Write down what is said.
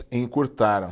Encurtaram.